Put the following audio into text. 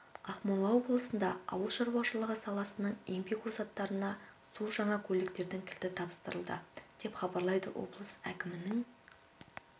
ақмола облысында ауыл шаруашылығы саласының еңбек озаттарына су жаңа көліктердің кілті тапсырылды деп хабарлайды облыс әкімінің